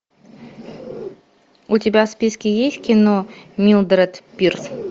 у тебя в списке есть кино милдред пирс